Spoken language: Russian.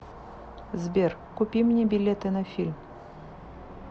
сбер купи мне билеты на фильм